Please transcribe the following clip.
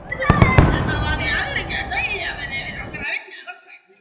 Þetta var því algjört dauðafæri fyrir okkur að vinna þá loksins.